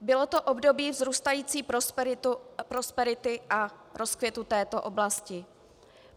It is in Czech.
Bylo to období vzrůstající prosperity a rozkvětu této oblasti.